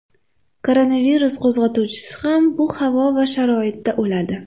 Koronavirus qo‘zg‘atuvchisi ham bu havo va sharoitda o‘ladi.